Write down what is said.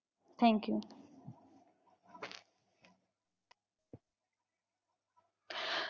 Thank you.